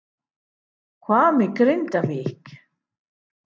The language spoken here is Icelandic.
Hvað með Grindavík?